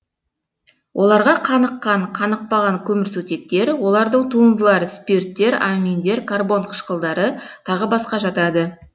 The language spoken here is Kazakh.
оларға қаныққан қанықпаған көмірсутектер олардың туындылары спирттер аминдер карбон қышқылдары тағы басқа жатады